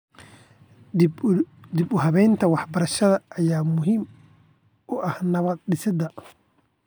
Dib u habeynta waxbarashada ayaa muhiim u ah nabad-dhisidda.